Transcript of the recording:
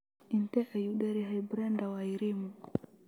Intee ayuu dheer yahay Brenda Wairimu?